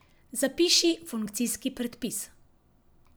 Zapiši funkcijski predpis.